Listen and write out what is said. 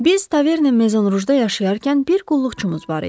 Biz taverni Mezonrudda yaşayarkən bir qulluqçumuz var idi.